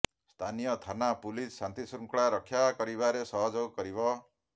ସ୍ଥାନୀୟ ଥାନା ପୁଲିସ ଶାନ୍ତିଶୃଙ୍ଖଳା ରକ୍ଷା କରିବାରେ ସହଯୋଗ କରିବ